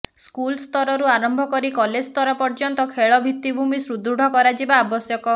ସ୍କୁଲ୍ସ୍ତରରୁ ଆରମ୍ଭକରି କଲେଜ୍ସ୍ତର ପର୍ୟ୍ୟନ୍ତ ଖେଳ ଭିତ୍ତିଭୂମି ସୁଦୃଢ଼ କରାଯିବା ଆବଶ୍ୟକ